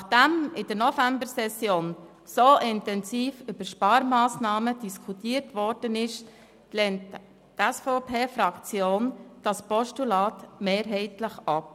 Nachdem in der Novembersession so intensiv über Sparmassnahmen diskutiert worden ist, lehnt die SVP-Fraktion dieses Postulat mehrheitlich ab.